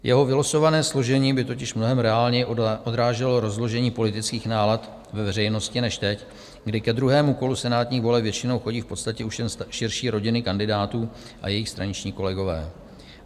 Jeho vylosované složení by totiž mnohem reálněji odráželo rozložení politických nálad ve veřejnosti než teď, kdy ke druhému kolu senátních voleb většinou chodí v podstatě už jen širší rodiny kandidátů a jejich straničtí kolegové.